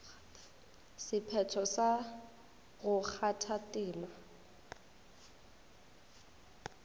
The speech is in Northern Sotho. sephetho sa go kgatha tema